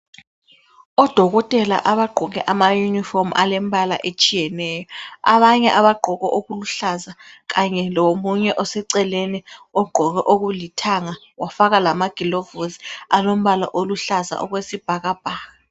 Odokotela abagqoke ama uniform alembala etshiyeno. Abanye abagqoke okuluhlaza kanye lomunye oseceleni ogqoke okulithanga wafaka lamagolovosi alombala oluhlaza okwesibhakabhaka.